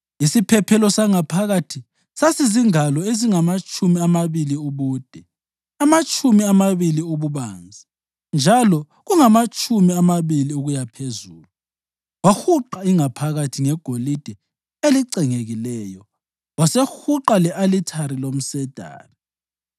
Isiphephelo sangaphakathi sasizingalo ezingamatshumi amabili ubude, amatshumi amabili ububanzi njalo kungamatshumi amabili ukuyaphezulu. Wahuqa ingaphakathi ngegolide elicengekileyo, wasehuqa le-alithari lomsedari.